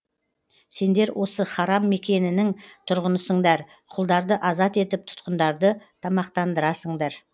сендер осы харам мекенінің тұрғынысыңдар құлдарды азат етіп тұтқындарды тамақтандырасыңдар